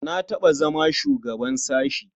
Na taɓa zama shugaban sashe.